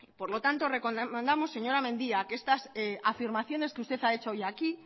por lo tanto recomendamos señora mendia que estas afirmaciones que usted ha hecho hoy aquí